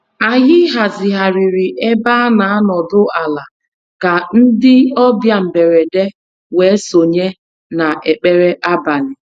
Anyị hazigharịrị ebe a n'anọdụ ala ka ndị ọbịa mberede wee sonye na ekpere abalị.